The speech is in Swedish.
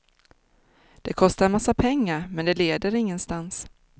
Det kostar en massa pengar, men det leder ingenstans.